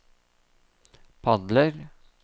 padler